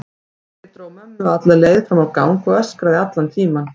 Pabbi dró mömmu alla leið fram á gang og öskraði allan tímann.